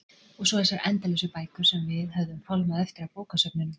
Og svo þessar endalausu bækur sem við höfðum fálmað eftir á bókasöfnunum.